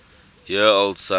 year old son